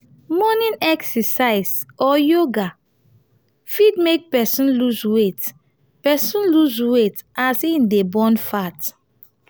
morning exercise or yoga fit make person loose weight person loose weight as im dey burn fat